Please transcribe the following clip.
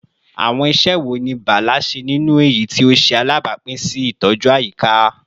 Awọn iṣẹ wo ni Bala ṣe ninu eyiti o ṣe alabapin si itọju ayika?